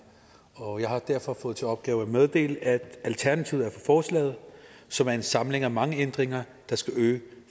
og jeg har derfor fået til opgave at meddele at alternativet er for forslaget som er en samling af mange ændringer der skal øge